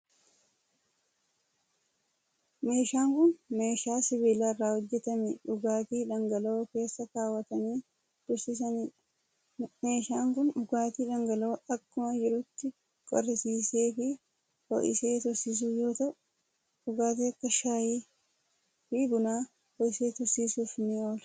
Meeshaan kun, meeshaa sibiila irraa hojjatame dhugaatii dhangala'oo keessa kaawwatanii tursiisanii dha. Meeshaan kun dhugaatii dhangala'oo akkuma jirutti qorrisiisee fi ho'isee tursiisu yoo ta'u, dhugaatii akka shaayii fi bunaa ho'isee tursiisuuf ni oola.